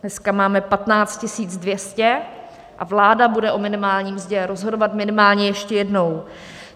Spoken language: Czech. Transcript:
Dneska máme 15 200 a vláda bude o minimálně mzdě rozhodovat minimálně ještě jednou.